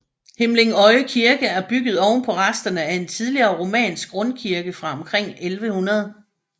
Himlingøje Kirke er bygget ovenpå resterne af en tidligere romansk rundkirke fra omkring 1100